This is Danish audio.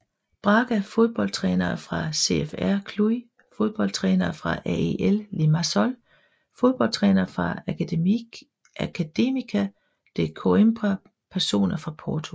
Braga Fodboldtrænere fra CFR Cluj Fodboldtrænere fra AEL Limassol Fodboldtrænere fra Académica de Coimbra Personer fra Porto